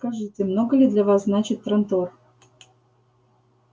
скажите много ли для вас значит трантор